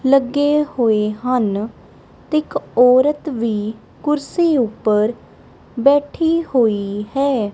ਲੱਗੇ ਹੋਏ ਹਨ ਤੇ ਇੱਕ ਔਰਤ ਵੀ ਕੁਰਸੀ ਉੱਪਰ ਬੈਠੀ ਹੋਈ ਹੈ।